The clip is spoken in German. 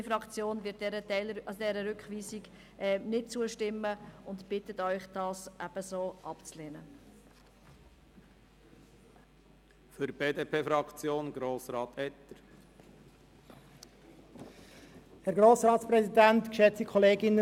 Die grüne Fraktion wird dieser Rückweisung nicht zustimmen und bittet auch Sie, diesen Antrag abzulehnen.